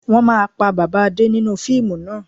Wọn máa pa bàbà Adé nínú fíìmù náà